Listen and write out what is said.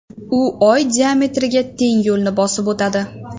U Oy diametriga teng yo‘lni bosib o‘tadi.